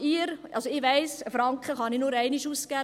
Ich weiss, ich kann einen Franken nur einmal ausgeben.